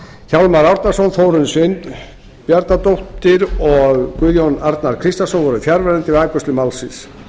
hjálmar árnason þórunn sveinbjarnardóttir og guðjón arnar kristjánsson voru fjarverandi við afgreiðslu málsins